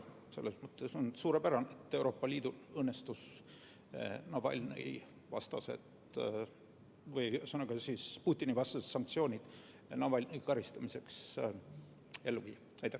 Selles mõttes on suurepärane, et Euroopa Liidul õnnestus Putini-vastased sanktsioonid Navalnõi eest karistamiseks ellu viia.